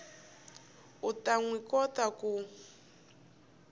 u ta swi kota ku